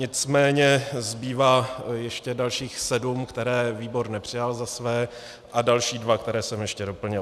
Nicméně zbývá ještě dalších sedm, které výbor nepřijal za své, a další dva, které jsem ještě doplnil.